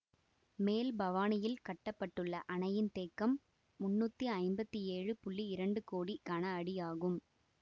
மேல் பவானியில் கட்ட பட்டுள்ள அணையின் தேக்கம் முன்னூற்றி ஐம்பத்தி ஏழு இரண்டு கோடி கனஅடி ஆகும்